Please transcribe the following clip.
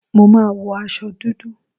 Mo má wo aṣọ dúdú.